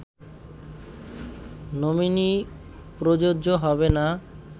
nominee প্রযোজ্য হবে না